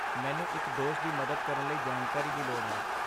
ਮੈਨੂੰ ਇੱਕ ਦੋਸਤ ਦੀ ਮਦਦ ਕਰਨ ਲਈ ਜਾਣਕਾਰੀ ਦੀ ਲੋੜ ਹੈ।